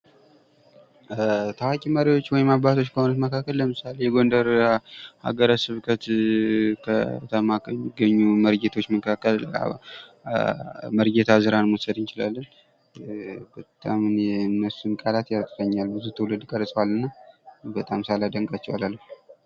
ታዋቂ መሪዎች ወይም አባቶች ከሆኑት መካከል ለምሳሌ የጎንደር ሀገረ ስብከት ከተማ ከሚገኙ መርጌቶች መካከል መርጌታ እዝራን መውሰድ እንችላለን በጣም እኔ ለእነሱ ቃላት ያጥረኛል ብዙ ትውልድ ቀርፀዋል እና በጣም ሳላደንቃቸው አላልፍም ።